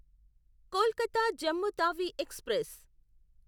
Kolkata Jammu Tawi express